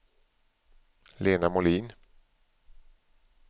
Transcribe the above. Lena Molin